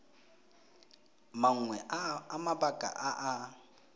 mangwe a mabaka a a